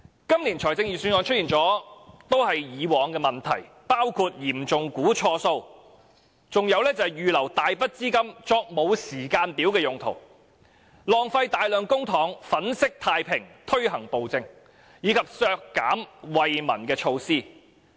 今年的預算案亦出現以往的問題，包括嚴重估算錯誤；預留大筆資金作沒有時間表的用途；浪費大量公帑粉飾太平，推行暴政；以及削減惠民措施。